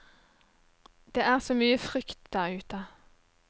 Det er så mye frykt der ute.